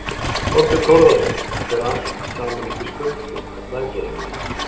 Þorbjörn Þórðarson: Þetta fer allt saman upp í skuldir, er það ekki eiginlega?